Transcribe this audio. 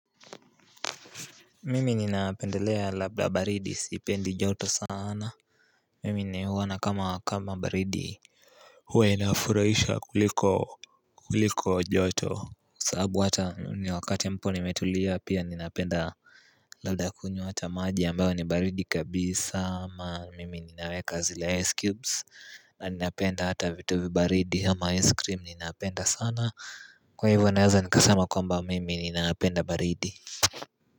Mimi ninapendelea labda baridi sipendi joto saana Mimi ni huona kama kama baridi huwa inafurahisha kuliko kuliko joto Kwa sababu hata ni wakati ambapo nimetulia pia ninapenda Labda kunywa hata maji ambayo ni baridi kabisa ama mimi ninaweka zile ice cubes na ninapenda hata vitu vibaridi ama ice cream ninapenda sana Kwa hivyo naweza nikasema kwamba mimi ninapenda baridi.